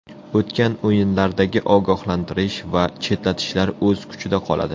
O‘tgan o‘yinlardagi ogohlantirish va chetlatishlar o‘z kuchida qoladi.